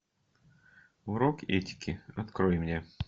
урок этики открой мне